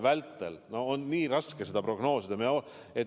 Seda olukorda on nii raske prognoosida.